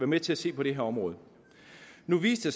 med til at se på det her område nu viste